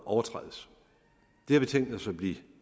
overtrædes det har vi tænkt os at blive